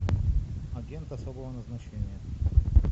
агент особого назначения